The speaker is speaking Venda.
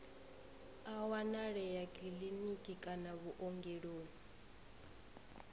a wanalea kiḽiniki kana vhuongeloni